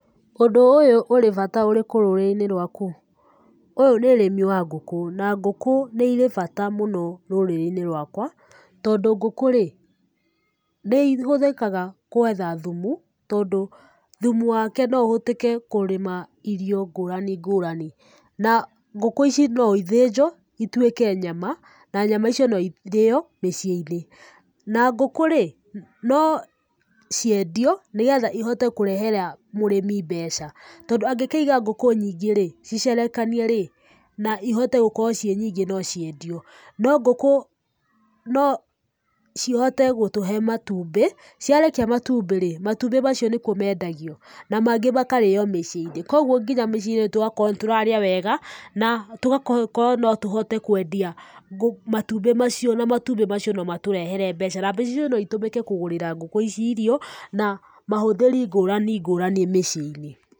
Ũndũ ũyũ ũrĩ bata ũrĩkũ rũrĩrĩ-inĩ rwaku? Ũyũ nĩ ũrĩmi wa ngũkũ, na ngũkũ nĩirĩ bata mũno rũrĩrĩ-inĩ rwaka, tondũ ngũku rĩ p, ni ihũthĩkaga kũetha thumu, tondũ thumu wake no ũhũthĩke kũrĩma irio ngũrani ngũrani. Na ngũkũ ici no ithĩnjwo ituĩke nyama, na nyama icio no irĩo miciĩ-inĩ. Na ngũkũ rĩ, no ciendio nĩgetha ihote kũrehera mũrĩmi mbeca. Tondũ angĩkĩiga ngũkũ nyingĩ rĩ, ciciarekanie rĩ, na ihote gũkorwo ciĩ nyingĩ no ciendio. No ngũkũ, no cihote gũtũhe matumbi. Ciarekia matumbĩ rĩ, matũmbĩ macio nĩguo meendagio na mangĩ makarĩo mĩciĩ-inĩ kũoguo nginya mĩcĩĩ-inĩ tugakorwo nĩtũrarĩa wega, na tũgakorwo no tũhote kwendia matumbĩ macio na matumbĩ macio no matũrehere mbeca, na mbeca icio no itũmĩke kũgũrĩra ngũkũ ici irio, na mahũthĩri ngũrani ngũrani mĩcĩi-inĩ.